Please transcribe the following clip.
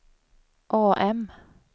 AM